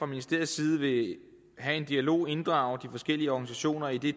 ministeriets side vil have en dialog inddrage de forskellige organisationer i det